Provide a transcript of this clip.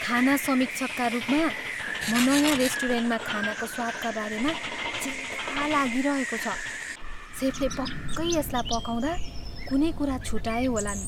खाना समीक्षकका रूपमा, म नयाँ रेस्टुरेन्टमा खानाको स्वादका बारेमा चिन्ता लागिरहेको छ। सेफले पक्कै यसलाई पकाउँदा कुनै कुरा छुटाए होलान्।